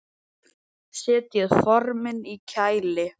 Setjið formin í kæli.